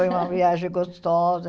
Foi uma viagem gostosa.